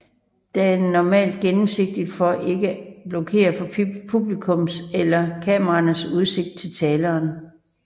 Den er normalt gennemsigtig for at ikke blokere for publikums eller kameraernes udsigt til taleren